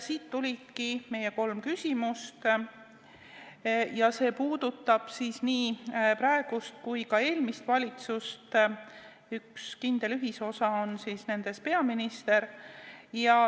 Siit tulidki meie kolm küsimust ja need puudutavad nii praegust kui ka eelmist valitsust, mille üks kindel ühisosa on peaminister.